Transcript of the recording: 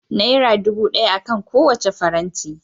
Naira dubu daya akan kowacce faranti